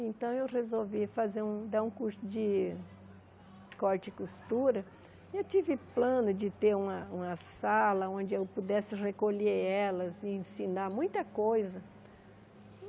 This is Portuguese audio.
Então, eu resolvi fazer um dar um curso de corte e costura e eu tive plano de ter uma uma sala onde eu pudesse recolher elas e ensinar muita coisa.